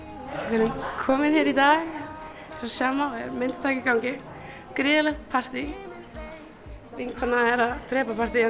erum komin hér í dag eins og sjá má er myndataka í gangi gríðarlegt partí vinkona er að drepa partíið en